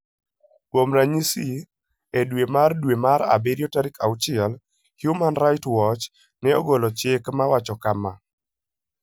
Kuom ranyisi, e dwe mar dwe mar abirio tarik 6, Human Rights Watch ne ogolo chik mawacho kama: